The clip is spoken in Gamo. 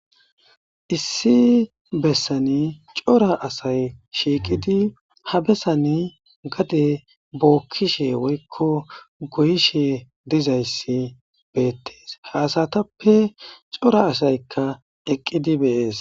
Issi bessani cora asay shiiqidi ha bessani gade bookkishe woykko goyishe diza issi beettees. Ha asatappe cora asayikka eqqidi bees.